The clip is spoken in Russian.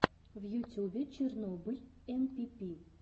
в ютюбе чернобыль энпипи